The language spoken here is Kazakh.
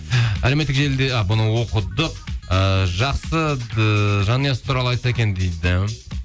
әлеуметтік желіде а бұны оқыдық ыыы жақсы ыыы жанұясы туралы айтса екен дейді